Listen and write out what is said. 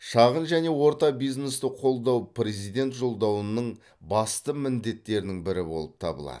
шағын және орта бизнесті қолдау президент жолдауының басымды міндеттердің бірі болып табылады